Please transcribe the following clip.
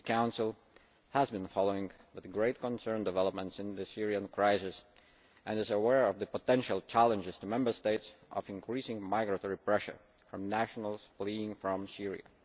The Council has been following with great concern developments in the Syrian crisis and is aware of the potential challenges to Member States of increasing migratory pressure from nationals fleeing from Syria.